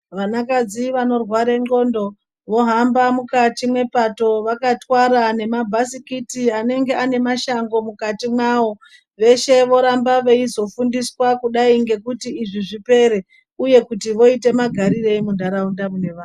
Vanakadzi vanorwara ndxondo vahamba mukati mwepato vakarwara nemabhasikiti anenge ane mashango mukati mawo veshe voramba veizofundiswa kudai ngekuti izvi zvipere uye voita magarirei muntaraunda mune vantu.